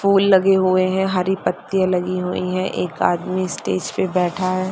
फूल लगे हुए हैं हरी पत्तियां लगी हुई है एक आदमी स्टेज पे बैठा है।